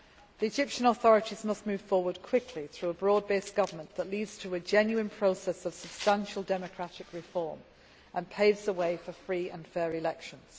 dialogue. The Egyptian authorities must move forward quickly through a broad based government leading to a genuine process of substantial democratic reform and paving the way for free and fair